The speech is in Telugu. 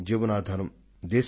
ప్రాణానికి ఆధారం జలమే